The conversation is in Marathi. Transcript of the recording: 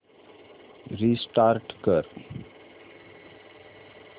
रिस्टार्ट कर